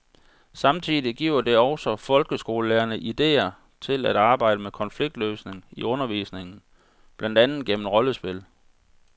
Samtidig giver det også folkeskolelærerne idéer til at arbejde med konfliktløsning i undervisningen, blandt andet gennem rollespil.